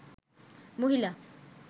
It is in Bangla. মহিলা